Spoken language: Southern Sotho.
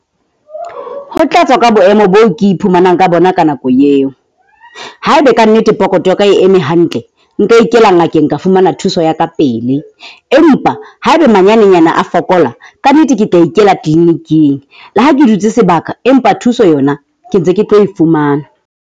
Ho tla tswa ka boemo boo ke iphumanang ka bona ka nako eo. Haeba kannete pokotho ya ka e eme hantle, nka ikela ngakeng ka fumana thuso ya kapele. Empa haebe ha manyanenyana a fokola kannete ke tla ikela clinic-ing le ha ke dutse sebaka, empa thuso yona ke ntse ke tlo e fumana.